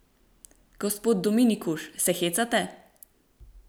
Gospod Dominkuš, se hecate?